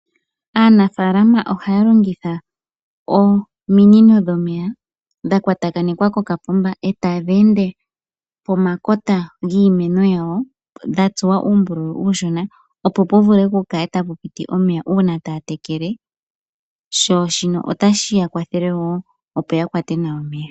Aanafalama ohaya longitha ominino dhomeya dha kwatakwanekwa koka poomba komeya e tadhi ende pomakota giimeno yawo dha tsuwa uumbululu uushona, opo pu vule pu kale tapu piti omeya uuna taa tekele sho shino otashi ya kwathele wo, opo ya kwate nawa omeya.